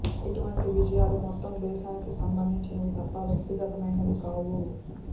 ఇటువంటి విజ యాలు మొత్తం దేశానికి సంబంధించినవి తప్ప వ్యక్తిగతమైనవి కావు